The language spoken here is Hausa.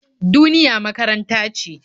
Duniya makaranta ce.